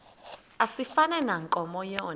asifani nankomo yona